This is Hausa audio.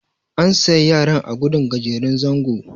an sa yaran a gudun gajeren zango